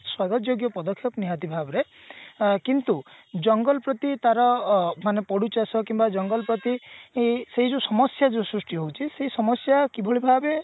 ସ୍ଵାଗତ ଯୋଗ୍ୟ ପଦକ୍ଷେପ ନିହାତି ଭାବରେ ଆ କିନ୍ତୁ ଜଙ୍ଗଲ ପ୍ରତି ତାର ଅ ମାନେ ପଡୁଛି ଅସର କିମ୍ବା ଜଙ୍ଗଲ ପ୍ରତି ଏଇ ସେଇ ଯୋଉ ସମସ୍ଯା ଯୋଉ ସୃଷ୍ଟି ହଉଛି ସେଇ ସମସ୍ଯା କିଭଳି ଭାବେ